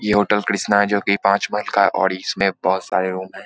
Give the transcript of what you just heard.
ये होटल कृष्णा है जो कि पांच महल का है और इसमें बहुत सारे रूम हैं।